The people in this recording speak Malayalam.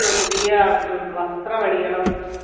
പുതിയ വസ്ത്രമണിയണം